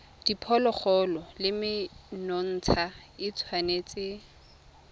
diphologolo le menontsha e tshwanetse